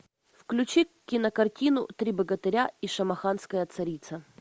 включи кинокартину три богатыря и шамаханская царица